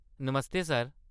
नमस्ते sir !